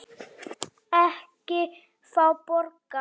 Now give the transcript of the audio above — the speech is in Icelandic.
Ekki fá borga.